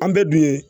An bɛɛ dun ye